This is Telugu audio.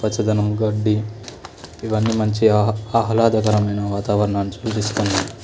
పచ్చదనం గడ్డి ఇవి అన్నీ మంచిగా ఆహ్లాదకరమైన వతావారణం నీ చూపిస్తున్నాయి.